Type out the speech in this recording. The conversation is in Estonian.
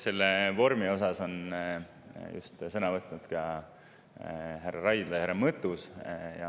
Selle vormi osas on sõna võtnud ka härra Raidla ja härra Mõttus.